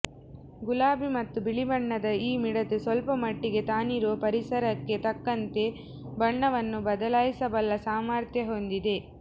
ಗುಲಾಬಿ ಮತ್ತು ಬಿಳಿ ಬಣ್ಣದ ಈ ಮಿಡತೆ ಸ್ವಲ್ಪ ಮಟ್ಟಿಗೆ ತಾನಿರುವ ಪರಿಸರಕ್ಕೆ ತಕ್ಕಂತೆ ಬಣ್ಣವನ್ನು ಬದಲಾಯಿಸಬಲ್ಲ ಸಾಮರ್ಥ್ಯ ಹೊಂದಿದೆ